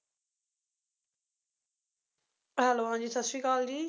hello ਹਾਂ ਜੀ, ਸੱਤ ਸ਼੍ਰੀ ਅਕਾਲ ਜੀ